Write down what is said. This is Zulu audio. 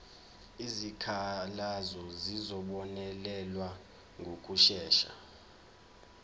izikhalazo zizobonelelwa ngokushesha